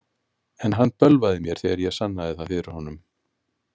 En hann bölvaði mér þegar ég sannaði það fyrir honum.